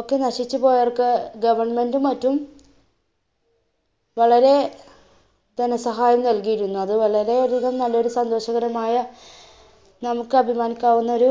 ഒക്കെ നശിച്ചു പോയവർക്ക് government മറ്റും വളരെ ധനസഹായം നല്കിയിരുന്നു, അത് വളരെ അധികം നല്ലൊരു സന്തോഷകരമായ നമുക്ക് അഭിമാനിക്കാവുന്നൊരു